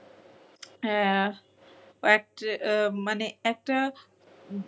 একটা মানে একটা